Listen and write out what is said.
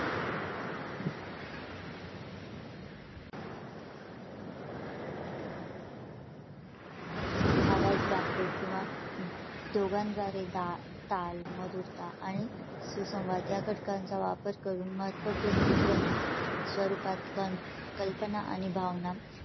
आवाज वाद्य किंवा दोघांद्वारे दा ताल मधूर ताल आणि सुसंवाद या घटकांचा वापर करून महत्वपूर्ण आणि ध्वनी स्वरूपात कल्पना आणि भावना